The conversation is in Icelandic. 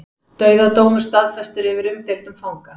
Dauðadómur staðfestur yfir umdeildum fanga